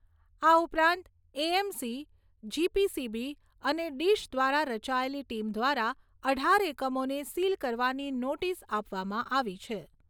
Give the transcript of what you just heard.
આ ઉપરાંત AMC, GPCB અને ડિશ દ્વારા રચાયેલી ટીમ દ્વારા અઢાર એકમોને સીલ કરવાની નોટીસ આપવામાં આવી છે.